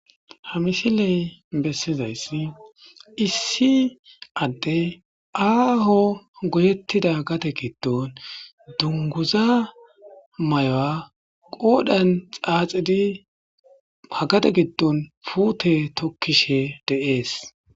ha mishiley bessizayssi issi adde aaho goyettida gate giddon dunguza may7oa qoodhan xaaxidi hagate giddon puute tokkishe deees